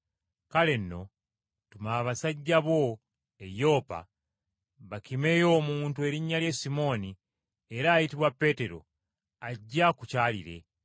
Kale nno, tuma basajja bo e Yopa bakimeyo omuntu erinnya lye Simooni era ayitibwa Peetero ajje akukyalire.